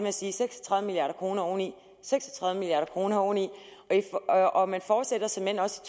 at sige seks og tredive milliard kroner oveni seks og tredive milliard kroner oveni og og man fortsætter såmænd også